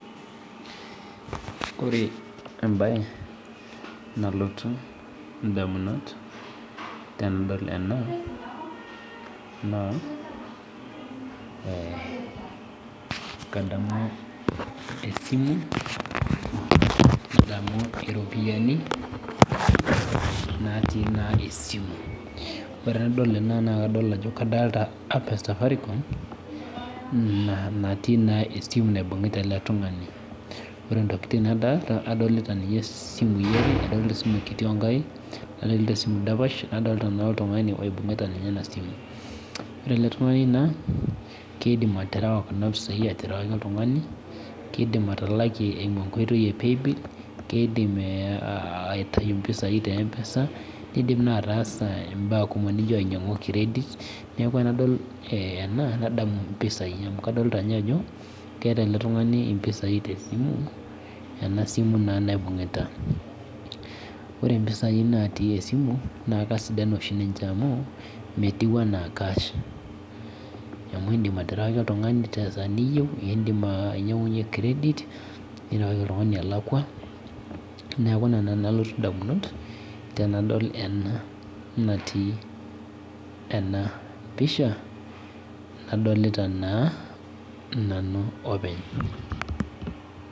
Ore embae nalotu ndamunot tenadol ena naa kadamu esimu nadamu iropiyiani natii esimu nadol ajo kadolita Safaricom natii esimu na esimu naibungita eletungani ore si enkae toki nadolita adolita ninye simui are adolita esimu kiti nadolita esimu sapuk onkaik nadolita oltungani oibungita enasimu ore eletungani na kidim aterewa kuna pisai aterewaki oltungani kidim atalakie eimu enkoitoi e paybill kidim aitau mpisai eimu enkoitoi e empesa kidim naa ataasa mbaa kumok nino ainyangu credit neaku tanadol ena nadamu mpisai amu kadolta ajo kweta eletungani mpisai tesimu ore mpisai natii esimu na Kesidan alang cash amu indim aterewaki oltungani olakwa neaku ina nalotu ndamunot tanadol ena natii enapisha nadolita nanu openy.